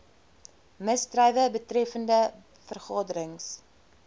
misdrywe betreffende vergaderings